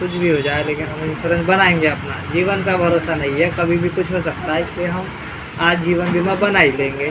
कुछ भी हो जाए लेकिन हम इन्शुरन्स बनाएंगे अपना जीवन का भरोसा नहीं है कभी भी कुछ भी हो सकता है इसलिए हम आज जीवन बीमा बना ही देंगे।